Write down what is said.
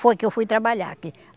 Foi que eu fui trabalhar aqui.